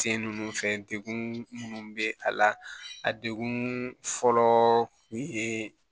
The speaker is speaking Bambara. Sen ninnu fɛ degun minnu bɛ a la a degun fɔlɔ kun ye